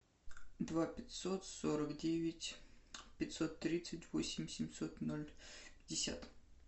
два пятьсот сорок девять пятьсот тридцать восемь семьсот ноль пятьдесят